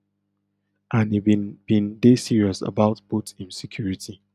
and im bin bin dey serious about both im security